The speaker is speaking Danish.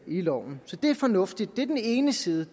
loven så det er fornuftigt det er den ene side